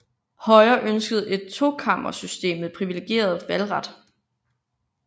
Højre ønskede et tokammersystem med privilegeret valgret